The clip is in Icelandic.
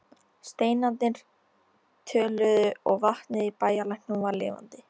Steinarnir töluðu og vatnið í bæjarlæknum var lifandi.